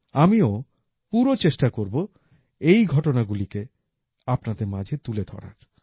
আমিও পুরো চেষ্টা করব এই ঘটনাগুলিকে আপনাদের মাঝে তুলে ধরার